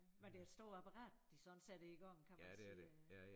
Men det er et stort apparat de sådan sætter i gang kan man sige øh